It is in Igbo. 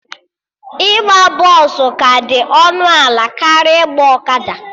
Ịgba bọsụ ka dị ọnụ ala karịa ịgba ọkada